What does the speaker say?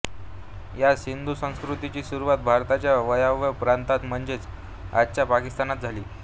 या सिंधू संस्कृतीची सुरुवात भारताच्या वायव्य प्रांतात म्हणजेच आजच्या पाकिस्तानात झाली